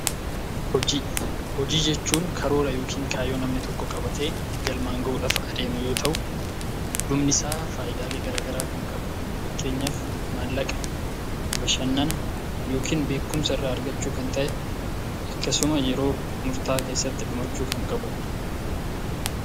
Hojii. Hojii jechuun karoora yookiin kaayyoo namni tokko qabatee galmaan ga'uuf adeemuu yoo ta'u dhumni isaa faayidalee gara garaa kan qabu fakkeenyaaf mallaqaa, bashannaa yookiin beekumsaa irra argachuu kan ta'ee akkasumaas yeroo murta'aa keessatti dhumaachuu kan qabudha.